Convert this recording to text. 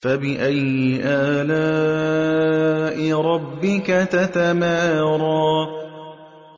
فَبِأَيِّ آلَاءِ رَبِّكَ تَتَمَارَىٰ